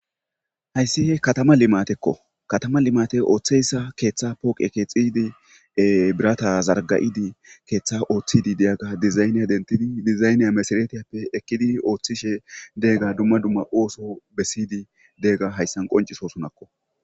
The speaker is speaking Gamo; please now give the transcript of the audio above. Hayssihe katama limatekko katama limate ooththeyssa keeththa pooqe keexiydi e birata zargayidi keeththa ooththidi deyagga dizayne dentidi dizayne mesaretiyappe ekkidi ooththishe deegga dumma dumma ooso bessiydi deega hayssan qonciso sunakko